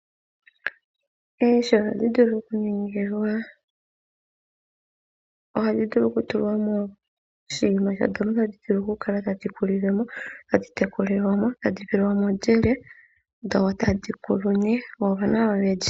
Oohi ohadhi vulu oku tulwa moshinima shontumba mono tadhi tekulilwa mo, tadhi pewelwa iikulya etadhi kokele mo.